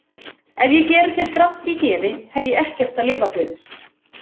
Ef ég geri þér gramt í geði hef ég ekkert að lifa fyrir.